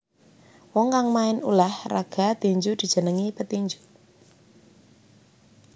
Wong kang main ulah raga tinju dijenengi petinju